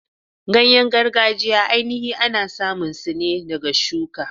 Ganye gargajiya ainihi ana samun su ne ɗaga shuka.